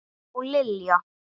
Og Lilja!